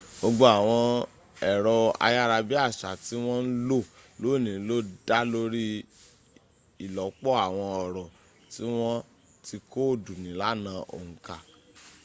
gbogbo àwọn ẹ̀rọ ayára bí àṣá tí wọ́n ń lò lónìí ló dá lórí ìlọ́pọ̀ àwọn ọ̀rọ̀ tí wọ́n ti kóòdù nílànà òǹkà